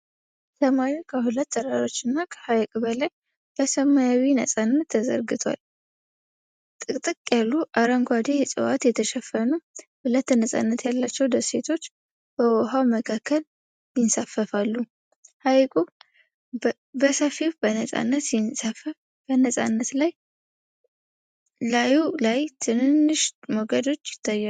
ሰማዩ ከሁለት ተራሮችና ከሐይቁ በላይ በሰማያዊ ነፃነት ተዘርግቷል። ጥቅጥቅ ያሉ አረንጓዴ ዕፅዋት የተሸፈኑ ሁለት ነፃነት ያላቸው ደሴቶች በውኃው መካከል ይንሳፈፋሉ። ሐይቁ በሰፊው በነፃነት ሲንሳፈፍ በነፃነት ላይ ላዩ ላይ ትንንሽ ሞገዶች ይታያሉ።